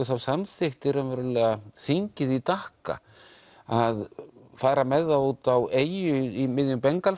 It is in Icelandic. þá samþykkti þingið í Dakha að fara með þá út á eyju í miðjum